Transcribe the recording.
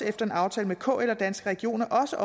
efter en aftale med kl og danske regioner også